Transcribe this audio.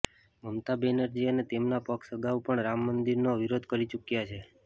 મમતા બેનરજી અને તેમનો પક્ષ અગાઉ પણ રામમંદિરનો વિરોધ કરી ચૂક્યાં છે